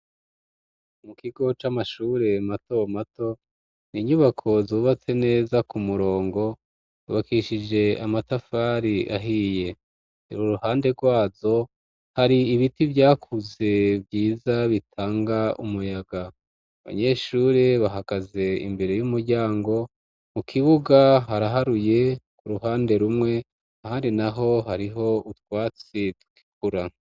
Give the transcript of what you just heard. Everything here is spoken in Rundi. Umu kigo c'amashure mato mato ni inyubako zubatse neza ku murongo ubakishije amatafari ahiye tera uruhande rwazo hari ibiti vyakuze bwiza bitanga umuyaga abanyeshure bahagaze imbere y'umuryango mu kibuga haraharuye ku ruhande rumwe ahari na ho hariho utwatsi tgikura.